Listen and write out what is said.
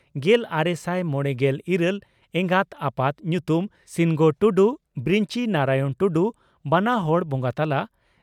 ᱜᱮᱞᱟᱨᱮᱥᱟᱭ ᱢᱚᱲᱮᱜᱮᱞ ᱤᱨᱟᱹᱞ ᱮᱜᱟᱛ/ᱟᱯᱟᱛ ᱧᱩᱛᱩᱢ ᱺ ᱥᱤᱱᱜᱚ ᱴᱩᱰᱩ/ᱵᱤᱨᱚᱧᱪᱤ ᱱᱟᱨᱟᱭᱚᱬ ᱴᱩᱰᱩ (ᱵᱟᱱᱟ ᱦᱚᱲ ᱵᱚᱸᱜᱟ ᱛᱟᱞᱟ)